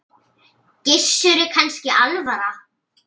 Gissuri kannski alvara.